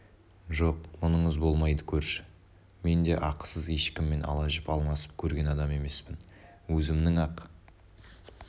жоқ мұныңыз болмайды көрші мен де ақысыз ешкіммен ала жіп алмасып көрген адам емеспін өзімнің ақ